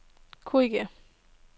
korrigér